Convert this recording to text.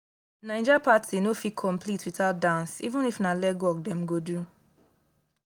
naija party no fit complete without dance even if na legwork dem go do.